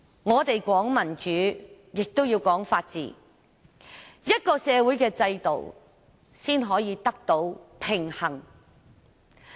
我們說民主，亦要說法治，這樣社會的制度才能得到平衡。